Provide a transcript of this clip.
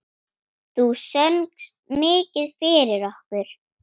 Þú söngst mikið fyrir okkur.